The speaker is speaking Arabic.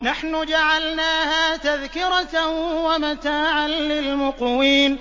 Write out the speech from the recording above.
نَحْنُ جَعَلْنَاهَا تَذْكِرَةً وَمَتَاعًا لِّلْمُقْوِينَ